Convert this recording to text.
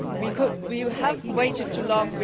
We have waited too long.